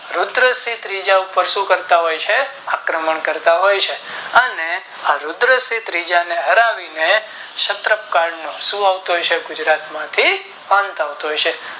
રુદ્રસિંહ ત્રીજા ઉપર શું કરતા હોય છે આક્રમણ કરતાંહોય છે અને રુદ્ર સિંહ ત્રીજા ને હરાવી ને ક્ષત કલ નો શું આવતો હોય છે ગુજરાત માંથી પંથ આવતો હોય છે